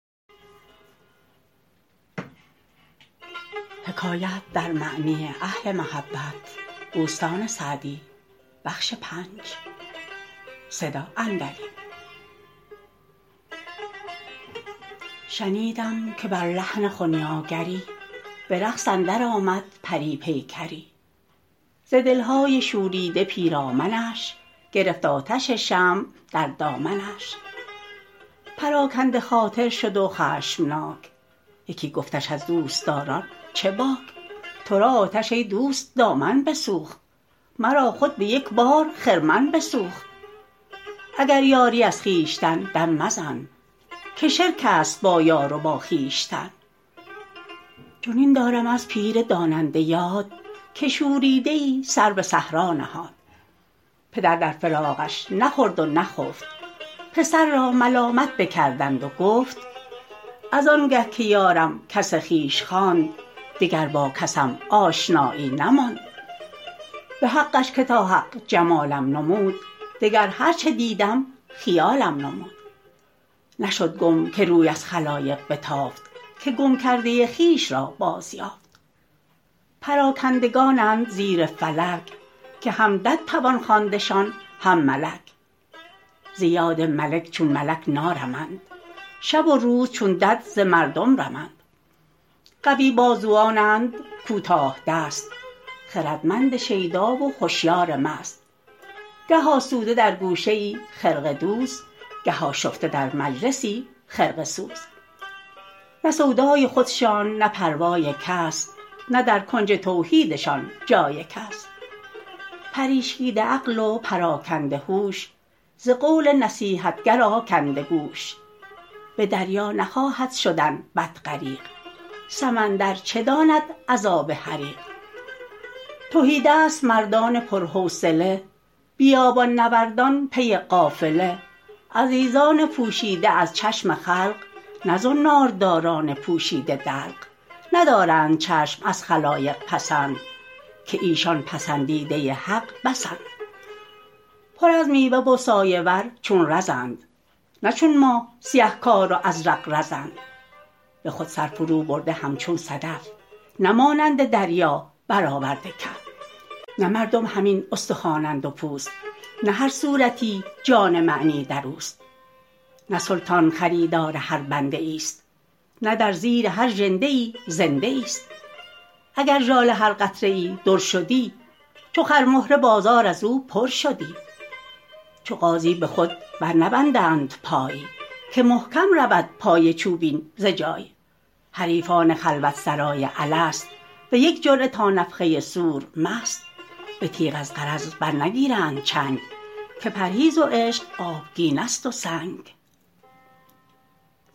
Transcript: شنیدم که بر لحن خنیاگری به رقص اندر آمد پری پیکری ز دلهای شوریده پیرامنش گرفت آتش شمع در دامنش پراکنده خاطر شد و خشمناک یکی گفتش از دوستداران چه باک تو را آتش ای دوست دامن بسوخت مرا خود به یک بار خرمن بسوخت اگر یاری از خویشتن دم مزن که شرک است با یار و با خویشتن چنین دارم از پیر داننده یاد که شوریده ای سر به صحرا نهاد پدر در فراقش نخورد و نخفت پسر را ملامت بکردند و گفت از انگه که یارم کس خویش خواند دگر با کسم آشنایی نماند به حقش که تا حق جمالم نمود دگر هر چه دیدم خیالم نمود نشد گم که روی از خلایق بتافت که گم کرده خویش را باز یافت پراکندگانند زیر فلک که هم دد توان خواندشان هم ملک ز یاد ملک چون ملک نارمند شب و روز چون دد ز مردم رمند قوی بازوانند کوتاه دست خردمند شیدا و هشیار مست گه آسوده در گوشه ای خرقه دوز گه آشفته در مجلسی خرقه سوز نه سودای خودشان نه پروای کس نه در کنج توحیدشان جای کس پریشیده عقل و پراکنده هوش ز قول نصیحتگر آکنده گوش به دریا نخواهد شدن بط غریق سمندر چه داند عذاب حریق تهیدست مردان پر حوصله بیابان نوردان پی قافله عزیزان پوشیده از چشم خلق نه زنار داران پوشیده دلق ندارند چشم از خلایق پسند که ایشان پسندیده حق بسند پر از میوه و سایه ور چون رزند نه چون ما سیه کار و ازرق بزند به خود سر فرو برده همچون صدف نه مانند دریا بر آورده کف نه مردم همین استخوانند و پوست نه هر صورتی جان معنی در اوست نه سلطان خریدار هر بنده ای است نه در زیر هر ژنده ای زنده ای است اگر ژاله هر قطره ای در شدی چو خرمهره بازار از او پر شدی چو غازی به خود بر نبندند پای که محکم رود پای چوبین ز جای حریفان خلوت سرای الست به یک جرعه تا نفخه صور مست به تیغ از غرض بر نگیرند چنگ که پرهیز و عشق آبگینه ست و سنگ